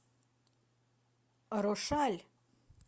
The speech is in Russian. рошаль